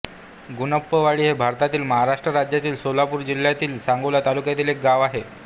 गुणप्पावाडी हे भारतातील महाराष्ट्र राज्यातील सोलापूर जिल्ह्यातील सांगोला तालुक्यातील एक गाव आहे